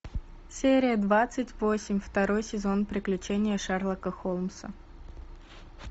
серия двадцать восемь второй сезон приключения шерлока холмса